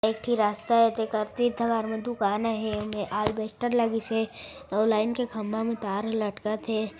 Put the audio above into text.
एक ठी रास्ता हे टेकर तीर तुकहार मे दुकान हे एमे आरबेस्टर लगिसे अऊ लाइन के खंभा मे तार ह लटकत हे।